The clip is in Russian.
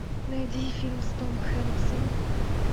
найди фильм с том хэнксом